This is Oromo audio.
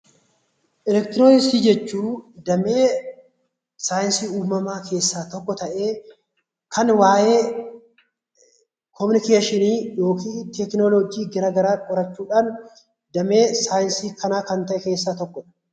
Elektirooniksii jechuun damee saayinsii uumamaa keessaa tokko ta'ee, kan waa'ee yaa'insa elektirooniksii fi teknooloojii garaa garaa qoratu damee saayinsii kanaa keessaa tokko kan ta'edha.